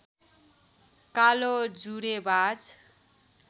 कालो जुरेबाज